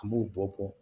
An b'o bɔ